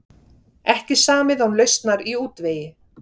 Ekki samið án lausnar í útvegi